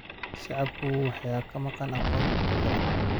Shacabku waxaa ka maqan aqoon ku filan.